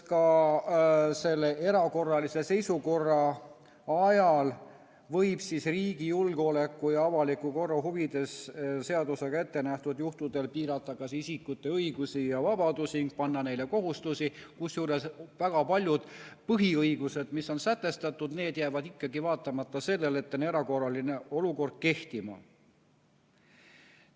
Ka selle erakorralise seisukorra ajal võib riigi julgeoleku ja avaliku korra huvides seadusega ettenähtud juhtudel piirata isikute õigusi ja vabadusi, panna neile kohustusi, kusjuures väga paljud põhiõigused, mis on sätestatud, jäävad ikkagi, vaatamata sellele, et on erakorraline olukord, kehtima.